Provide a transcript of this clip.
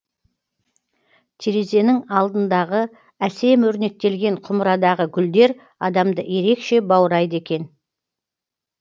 терезенің алдындағы әсем өрнектелген құмырадағы гүлдер адамды ерекше баурайды екен